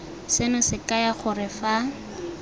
seno se kaya gore fa